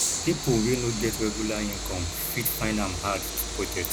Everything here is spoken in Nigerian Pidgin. pipo wey no get regular income fit find am hard to budget